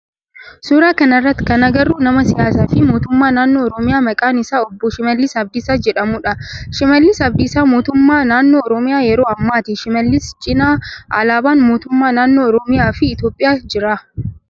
Suuraa kana irratti kan agarru nama siyaasaa fi mootummaa naannoo oromiyaa maqaan isaa obboo Shimallis Abdiisaa jedhamudha. Shimallis Abdiisaa mootummaa naannoo oromiyaa yeroo ammaati. Shimallis cinaa alaabaan mootummaa naannoo oromiyaa fi Itiyoophiyaa jira.